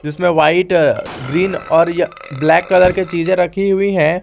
इसमें white green और य ब्लैक कलर के चीजें रखी हुई है।